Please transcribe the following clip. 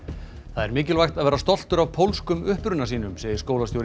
það er mikilvægt að vera stoltur af pólskum uppruna sínum segir skólastjóri